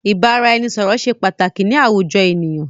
Ìbáraẹnisọ̀rọ̀ ṣé pàtàkì ni àwùjọ ènìyàn.